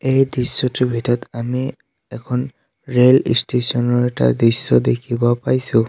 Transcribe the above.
এই দৃশ্যটোৰ ভিতৰত আমি এখন ৰেল ষ্টেচন ৰ এটা দৃশ্য দেখিব পাইছোঁ।